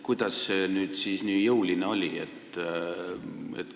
Kuidas see nüüd siis nii jõuline oli?